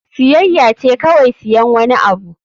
Siyayya ce kawai siyan wani abu.